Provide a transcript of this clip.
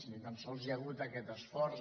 ni tan sols hi ha hagut aquest esforç